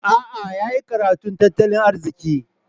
A'a, ya yi karatun tattalin arziki.